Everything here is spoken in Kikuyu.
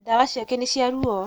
Ndawa ciake nĩ cia ruo.